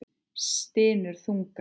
Stynur þungan.